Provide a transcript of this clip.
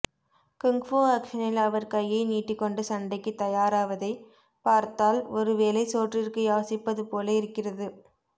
kung fu ஆக்ஷனில் அவர் கையை நீட்டிகொண்டு சண்டைக்கு தயாராவதைப் பார்த்தால் ஒருவேளை சோற்றிற்கு யாசிப்பது போல இருக்கிறது